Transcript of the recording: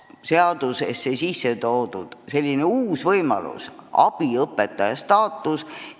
Seadusesse on lisatud ka uus võimalus: määratletud on abiõpetaja staatus.